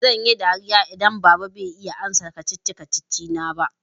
Zan yi dariya idan baba bai iya amsa kacici-kacici na ba.